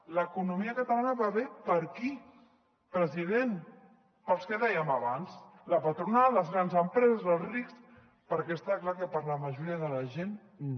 l’economia catalana va bé per a qui president per als que dèiem abans la patronal les grans empreses els rics perquè està clar que per a la majoria de la gent no